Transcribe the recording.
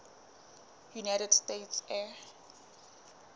united states air